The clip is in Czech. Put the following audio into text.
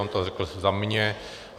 On to řekl za mě.